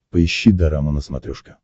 поищи дорама на смотрешке